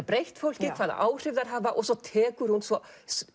breytt fólki og hvaða áhrif þær hafa og svo tekur hún svo